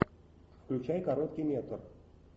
включай короткий метр